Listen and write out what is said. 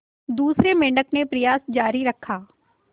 दूसरे मेंढक ने प्रयास जारी रखा